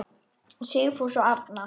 Sigfús og Arna.